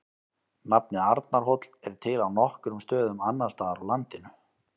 Nafnið Arnarhóll er til á nokkrum stöðum annars staðar á landinu.